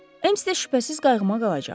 Əms də şübhəsiz qayğıma qalacaq.